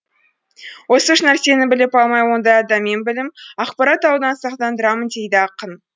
осы үш нәрсені біліп алмай ондай адамнан білім ақпарат алудан сақтандырамын дейді ақын